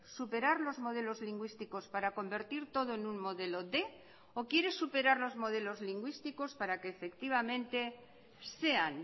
superar los modelos lingüísticos para convertir todo en un modelo quinientos o quiere superar los modelos lingüísticos para que efectivamente sean